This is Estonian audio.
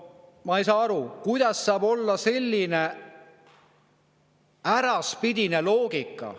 Ma ei saa aru, kuidas saab olla selline äraspidine loogika.